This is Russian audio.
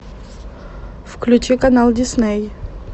включи канал дисней